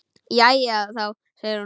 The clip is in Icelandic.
Jæja þá, segir hún.